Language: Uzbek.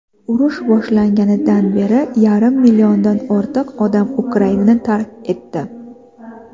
urush boshlanganidan beri yarim milliondan ortiq odam Ukrainani tark etdi.